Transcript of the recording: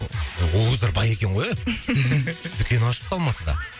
о ол қыздар бай екен ғой ия дүкен ашыпты алматыда